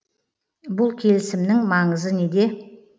бұл келісімнің маңызы неде